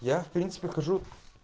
я в принципе хожу